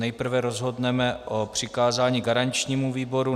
Nejprve rozhodneme o přikázání garančnímu výboru.